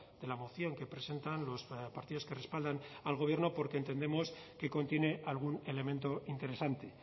de la moción que presentan los partidos que respaldan al gobierno porque entendemos que contiene algún elemento interesante